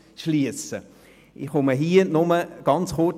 Ich äussere mich an dieser Stelle nur ganz kurz.